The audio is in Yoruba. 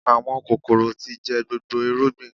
Àwọn kòkòrò tí jẹ gbogbo irúgbìn